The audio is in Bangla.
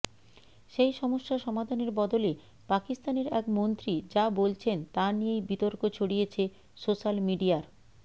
সেই সমস্যা সমাধানের বদলে পাকিস্তানের এক মন্ত্রী যা বলছেন তা নিয়েই বিতর্ক ছড়িয়েছে সোশ্যাল মিডিয়ার